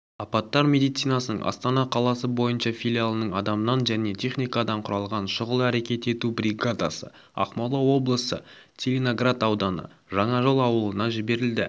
апаттар медицинасының астана қаласы бойынша филиалының адамнан және техникадан құралған шұғыл әрекет ету бригадасы ақмола облысы целиноград ауданы жаңажол ауылына жіберілді